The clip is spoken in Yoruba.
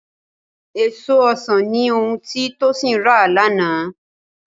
Èso ọsàn ni ohun tí Tósìn rà lánàá